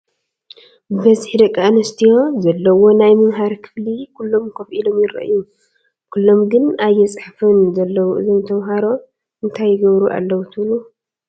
ብበዝሒ ደቂ ኣንስትዮ ዘለወኦ ናይ መምሃሪ ክፍሊ ኩሎም ከፍ ኢሎም ይረአዩ፡፡ ኩሎም ግን ኣየፅሕፉን ዘለው እዞም ተምሃሮ እንታይ ይገብሩ ኣለው ትብሉ?